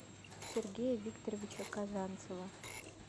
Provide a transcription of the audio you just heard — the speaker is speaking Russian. сергея викторовича казанцева